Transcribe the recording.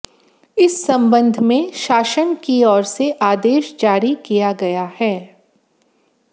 इस संबंध में शासन की ओर से आदेश जारी किया गया है